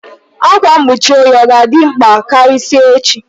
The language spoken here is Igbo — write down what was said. Ákwá mkpuchi oyi ọ ga-dị mkpa karịsịa echi?